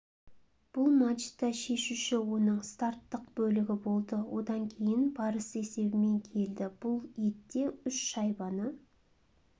бұл матчта шешуші оның старттық бөлігі болды одан кейін барыс есебімен келді бұл етте үш шайбаны